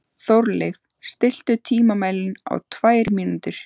Þórleif, stilltu tímamælinn á tvær mínútur.